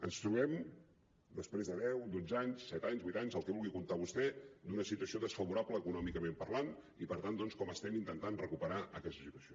ens trobem després de deu dotze anys set anys vuit anys els que vulgui comptar vostè d’una situació desfavorable econòmicament parlant i per tant doncs com estem intentant recuperar nos d’aquesta situació